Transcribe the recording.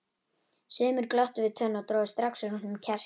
Sumir glottu við tönn og drógu strax úr honum kjarkinn.